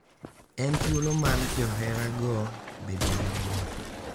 En thuolo mar joherago bedo gi mor.